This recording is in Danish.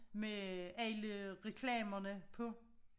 Med alle reklamerne på